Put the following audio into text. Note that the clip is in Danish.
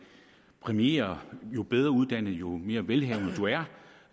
præmierer jo bedre uddannet og jo mere velhavende du er og